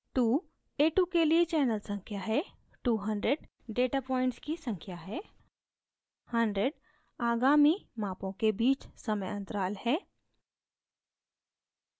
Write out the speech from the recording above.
2 a2 के लिए channel संख्या है 100 data points की संख्या है 100 आगामी मापों के बीच समय interval time interval है